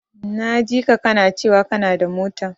Na jika kana cewa kanada mota.